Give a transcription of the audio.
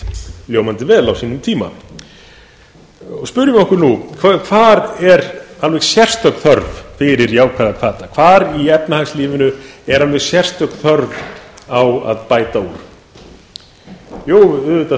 reynst ljómandi vel á sínum tíma spyrjum okkur nú hvar er alveg sérstök þörf fyrir jákvæða hvata hvar í efnahagslífinu er alveg sérstök þörf á að bæta úr jú auðvitað